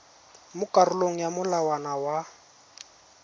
mo karolong ya molawana wa